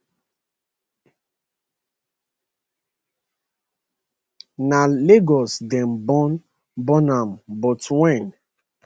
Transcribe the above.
na lagos dem born born am but wen